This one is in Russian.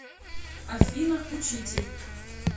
афина учитель